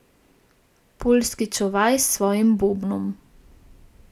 Poljski čuvaj s svojim bobnom.